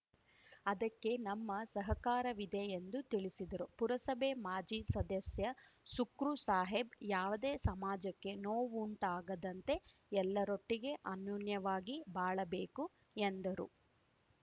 ಅದಕ್ಕೆ ನಮ್ಮ ಸಹಕಾರವಿದೆ ಎಂದು ತಿಳಿಸಿದರು ಪುರಸಭೆ ಮಾಜಿ ಸದಸ್ಯ ಸುಕ್ರು ಸಾಹೇಬ್‌ ಯಾವುದೇ ಸಮಾಜಕ್ಕೆ ನೋವುಂಟಾಗದಂತೆ ಎಲ್ಲರೊಟ್ಟಿಗೆ ಅನ್ಯೋನ್ಯವಾಗಿ ಬಾಳಬೇಕು ಎಂದರು